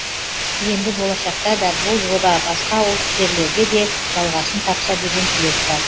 енді болашақта да бұл жоба басқа ауылдық жерлерде де жалғасын тапса деген тілек бар